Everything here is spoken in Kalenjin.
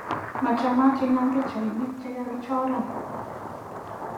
Machamat inam pikchainik chigagichoran